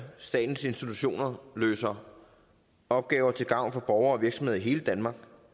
statens institutioner løser opgaver til gavn for borgere og virksomheder i hele danmark